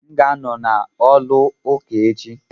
M ga-anọ na olu ụka echi.